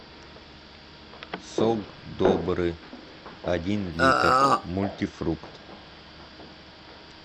сок добрый один литр мультифрукт